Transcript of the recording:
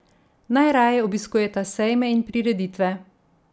Najraje obiskujeta sejme in prireditve.